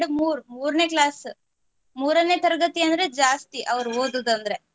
ಮೂರೂ ಮೂರನೆ class ಮೂರನೆ ತರಗತಿ ಅಂದ್ರೆ ಜಾಸ್ತಿ ಅವರು ಓದುದಂದ್ರೆ